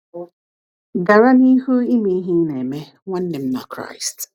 Gara n’ihu ime ihe ị na-eme, nwanne m na Kraịst.